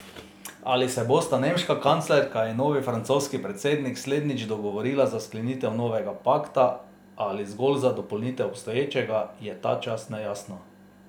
Ali se bosta nemška kanclerka in novi francoski predsednik slednjič dogovorila za sklenitev novega pakta ali zgolj za dopolnitev obstoječega, je ta čas nejasno.